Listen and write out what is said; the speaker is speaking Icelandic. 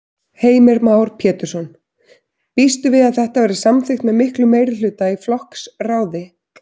Heimir Már Pétursson: Býstu við að þetta verði samþykkt með miklum meirihluta í flokksráði?